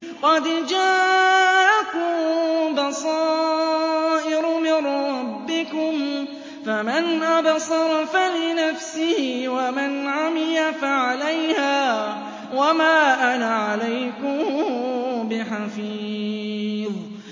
قَدْ جَاءَكُم بَصَائِرُ مِن رَّبِّكُمْ ۖ فَمَنْ أَبْصَرَ فَلِنَفْسِهِ ۖ وَمَنْ عَمِيَ فَعَلَيْهَا ۚ وَمَا أَنَا عَلَيْكُم بِحَفِيظٍ